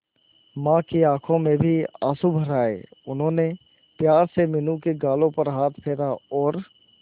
मां की आंखों में भी आंसू भर आए उन्होंने प्यार से मीनू के गालों पर हाथ फेरा और